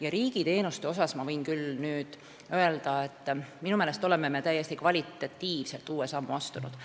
Ja riigiteenuste kohta ma võin nüüd küll öelda, et minu meelest oleme me kvalitatiivselt täiesti uue sammu astunud.